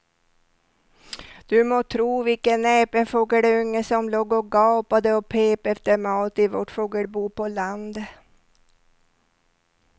Du må tro vilken näpen fågelunge som låg och gapade och pep efter mat i vårt fågelbo på landet.